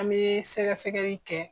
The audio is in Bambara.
An bɛ sɛgɛsɛgɛli kɛ